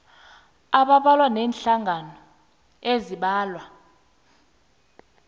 abambalwa neenhlangano eziimbalwa